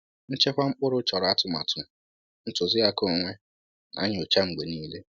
Nchekwa mkpụrụ chọrọ atụmatụ, ntụzịaka onwe, na nnyocha mgbe niile